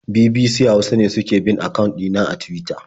BBC Hausa ne suke bin akawun ɗina a Tuwita.